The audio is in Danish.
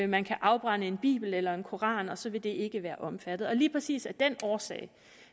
man kan afbrænde en bibel eller en koran og så vil det ikke være omfattet og lige præcis af den årsag